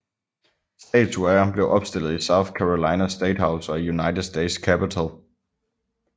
Statuer af ham blev opstillet i South Carolina State House og i United States Capitol